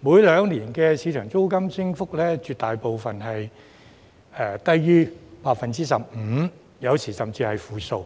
每兩年的市場租金升幅，絕大部分是低於 15%， 有時候甚至是負數。